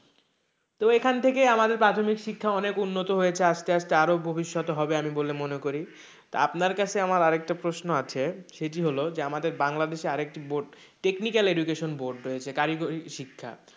তো এখান থেকেই আমাদের প্রাথমিক শিক্ষা অনেক উন্নত হয়েছে আস্তে আস্তে আরো ভবিষ্যতে হবে বলে আমি মনে করি আপনার কাছে আমার আর একটা প্রশ্ন আছে সেটি হল যে আমাদের বংলাদেশে আর একটি board technical education রয়েছে কারিগরি শিক্ষা।